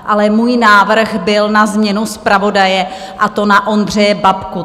Ale můj návrh byl na změnu zpravodaje, a to na Ondřeje Babku.